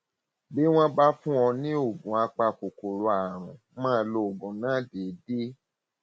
bí wọn bá fún ọ ní oògùn apakòkòrò àrùn máa lo oògùn náà déédé